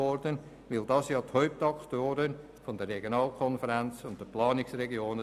Sie sind ja die Hauptakteure der Regionalkonferenzen und Planungsregionen.